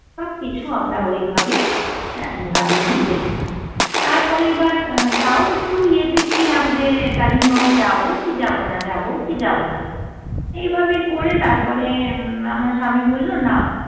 সব কিছু আমরা ওই ভাবেই গাড়ি নিয়ে দেখলাম, তার পরে এবার তাও একটু ইয়ে তে ছিলাম যে কালিম্পং যাবো কি যাবো না যাবো কি যাবো না! এইভাবে করে তারপরে উম আমার স্বামী বলল না